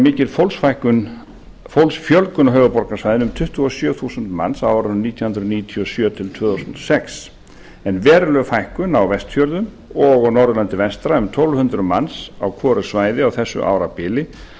mikil fólksfjölgun á höfuðborgarsvæðinu um tuttugu og sjö þúsund manns á árunum nítján hundruð níutíu og sjö til tvö þúsund og sex en veruleg fækkun á vestfjörðum og á norðurlandi vestra um tólf þúsund manns á hvoru svæði á þessu árabili